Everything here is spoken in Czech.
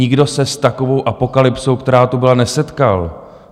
Nikdo se s takovou apokalypsou, která tu byla, nesetkal.